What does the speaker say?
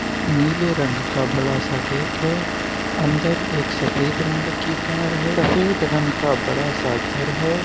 नीले रंग का बड़ा सा गेट है अंदर एक सफेद रंग की कार है सफेद रंग का बड़ा सा घर है।